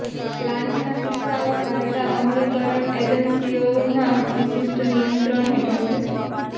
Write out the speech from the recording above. લાંચના કિસ્સાઓ કાયદા અમલીકરણ એજન્સીઓના વિશિષ્ટ નિયંત્રણ હેઠળ છે